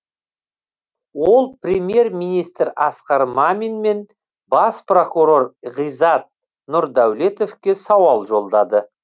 ол премьер министр асқар мамин мен бас прокурор ғизат нұрдәулетовке сауал жолдады